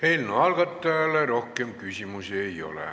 Eelnõu algatajale rohkem küsimusi ei ole.